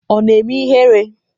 ọ na-eme ihere?